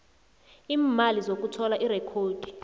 iimali zokuthola irekhodi